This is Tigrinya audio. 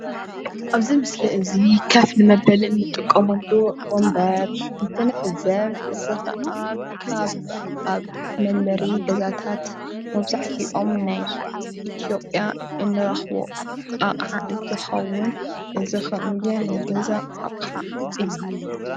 ኣብዚ ምስሊ እዚ ከፍ ንመበሊ እንጥቀመሉ ወንበር እንትንዕዘብ እዚ ከዓ ካብ ኣብ መንበሪ ገዛታት መብዛሕትኦም ናይ ኢትዮጵያ እንረክቦ ኣቅሓ እንትከውን እዚ ናይ ገዛ ኣቅሓ እዩ፡፡